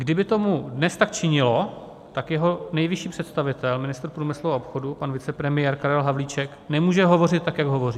Kdyby to dnes tak činilo, tak jeho nejvyšší představitel, ministr průmyslu a obchodu, pan vicepremiér Karel Havlíček, nemůže hovořit tak, jak hovoří.